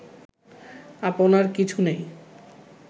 আপনার কিছু নেই